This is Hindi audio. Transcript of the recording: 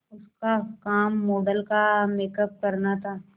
उसका काम मॉडल का मेकअप करना था